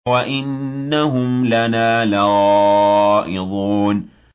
وَإِنَّهُمْ لَنَا لَغَائِظُونَ